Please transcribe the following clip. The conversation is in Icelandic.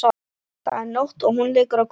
Það er nótt og hún liggur á gólfinu.